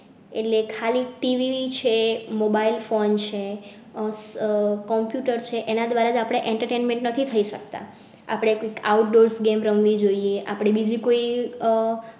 એટલે ખાલી TV છે કે mobile phone છે આહ computer છે એના દ્વારા આપણે entertainment નથી થઈ શકતા. આપણે outdoor game રમ વી જોઈએ. આપણે બીજી કોઈ આહ